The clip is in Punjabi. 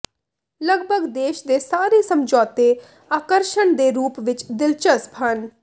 ਲਗਭਗ ਦੇਸ਼ ਦੇ ਸਾਰੇ ਸਮਝੌਤੇ ਆਕਰਸ਼ਣ ਦੇ ਰੂਪ ਵਿੱਚ ਦਿਲਚਸਪ ਹਨ